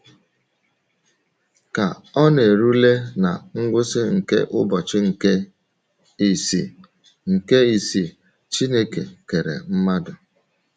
Ka ọ na - erule ná ngwụsị nke ụbọchị nke isii, nke isii, Chineke kere mmadụ.